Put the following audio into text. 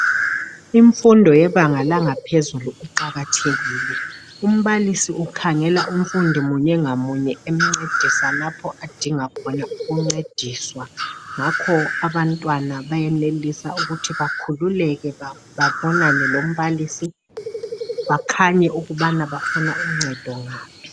Imfundo yebanga langaphezulu iqakathekile umbalisi ukhangela umfundi munye ngamunye emncedisa lapho adinga khona ukuncediswa ngakho abantwana bayenelisa ukuthi bakhululeke babonane lombalisi bakhanye ukubana bafuna uncedo ngaphi.